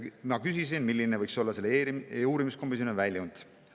Ma küsisin, milline võiks olla selle uurimiskomisjoni väljund.